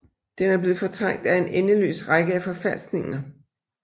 Den er blevet fortrængt af en endeløs række af forfalskninger